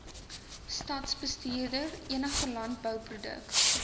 stadsbestuurder enige landbouproduk